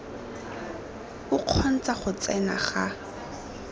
o kgontsha go tsena ga